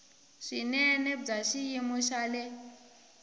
swinene bya xiyimo xa le